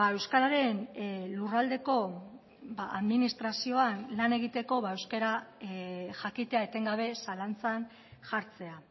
euskararen lurraldeko administrazioan lan egiteko euskara jakitea etengabe zalantzan jartzea